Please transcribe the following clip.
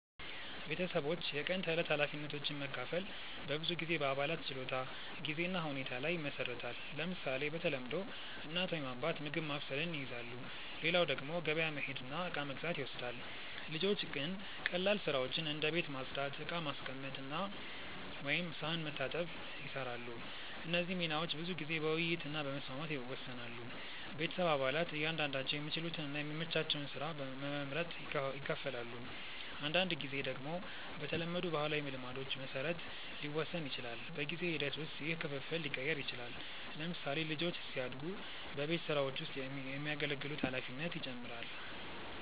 ቤተሰቦች የቀን ተዕለት ኃላፊነቶችን መካፈል በብዙ ጊዜ በአባላት ችሎታ፣ ጊዜ እና ሁኔታ ላይ ይመሰረታል። ለምሳሌ፣ በተለምዶ እናት ወይም አባት ምግብ ማብሰልን ይይዛሉ፣ ሌላው ደግሞ ገበያ መሄድ እና እቃ መግዛት ይወስዳል። ልጆች ግን ቀላል ስራዎችን እንደ ቤት ማጽዳት፣ ዕቃ ማስቀመጥ ወይም ሳህን መታጠብ ይሰራሉ። እነዚህ ሚናዎች ብዙ ጊዜ በውይይት እና በመስማማት ይወሰናሉ። ቤተሰብ አባላት እያንዳንዳቸው የሚችሉትን እና የሚመቻቸውን ስራ በመመርጥ ይካፈላሉ። አንዳንድ ጊዜ ደግሞ በተለመዱ ባህላዊ ልማዶች መሰረት ሊወሰን ይችላል። በጊዜ ሂደት ውስጥ ይህ ክፍፍል ሊቀየር ይችላል። ለምሳሌ፣ ልጆች ሲያድጉ በቤት ስራዎች ውስጥ የሚያገለግሉት ኃላፊነት ይጨምራል።